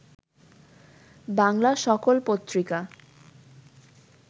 বাংলা সকল পত্রিকা